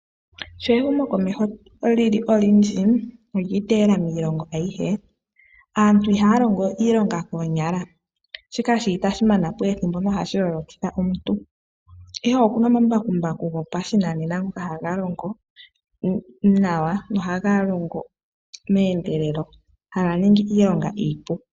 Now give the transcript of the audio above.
Sho ehumokomeho li li olyindji no lya iteyela miilongo ayihe, aantu ihaya longo we iilonga koonyala, shika shi li itashi mama po ethimbo no hashi lolokitha omuntu. Ihe oku na omambakumbaku gopashinanena mgoka haga longo nawa, nohaga longo meendelelo, haga ningi iilonga iipu.